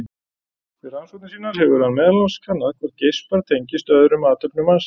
Við rannsóknir sínar hefur hann meðal annars kannað hvort geispar tengist öðrum athöfnum mannsins.